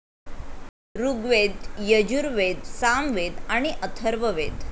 ऋग्वेद, यजुर्वेद, सामवेद आणि अथर्ववेद.